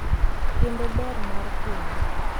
kendo ber mar keny.